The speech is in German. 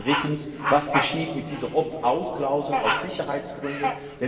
Drittens Was geschieht mit dieser Opt out Klausel aus Sicherheitsgründen?